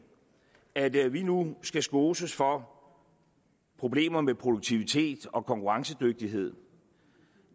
at vi nu skal skoses for problemer med produktivitet og konkurrencedygtighed